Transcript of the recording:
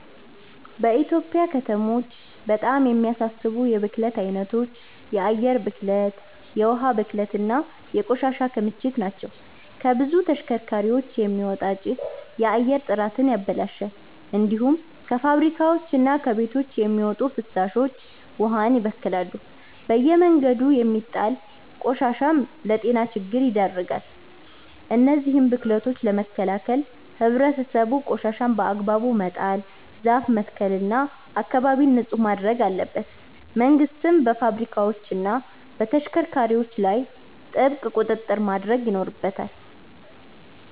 በኢትዮጵያ ከተሞች በጣም የሚያሳስቡ የብክለት አይነቶች የአየር ብክለት፣ የውሃ ብክለት እና የቆሻሻ ክምችት ናቸው። ከብዙ ተሽከርካሪዎች የሚወጣ ጭስ የአየር ጥራትን ያበላሻል። እንዲሁም ከፋብሪካዎችና ከቤቶች የሚወጡ ፍሳሾች ውሃን ይበክላሉ። በየመንገዱ የሚጣል ቆሻሻም ለጤና ችግር ይዳርጋል። እነዚህን ብክለቶች ለመከላከል ህብረተሰቡ ቆሻሻን በአግባቡ መጣል፣ ዛፍ መትከል እና አካባቢን ንጹህ ማድረግ አለበት። መንግስትም በፋብሪካዎችና በተሽከርካሪዎች ላይ ጥብቅ ቁጥጥር ማድረግ ይኖርበታል።